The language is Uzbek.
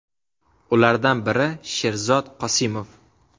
Ulardan biri Sherzod Qosimov.